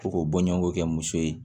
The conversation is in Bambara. Ko k'o bɔɲɔgɔnko kɛ muso ye